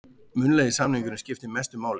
Munnlegi samningurinn skiptir mestu máli